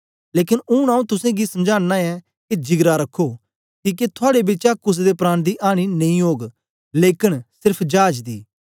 लेकन ऊन आंऊँ तुसेंगी समझाना ऐं के जिगरा रखो किके थुआड़े बिचा कुसे दे प्राण दी आनी नेई ओग लेकन सेर्फ चाज दी